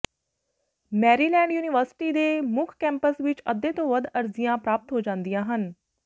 Maryland university ਦੇ ਮੁੱਖ campus ਵਿੱਚ ਅੱਧੇ ਤੋਂ ਵੱਧ ਅਰਜ਼ੀਆਂ ਪ੍ਰਾਪਤ ਹੋ ਜਾਂਦੀਆਂ ਹਨ